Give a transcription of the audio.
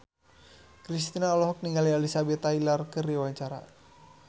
Kristina olohok ningali Elizabeth Taylor keur diwawancara